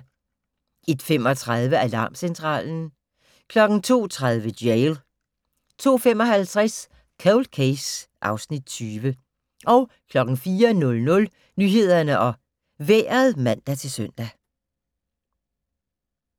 01:35: Alarmcentralen 02:30: Jail 02:55: Cold Case (Afs. 20) 04:00: Nyhederne og Vejret (man-søn)